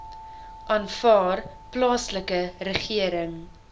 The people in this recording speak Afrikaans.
aanvaar plaaslike regering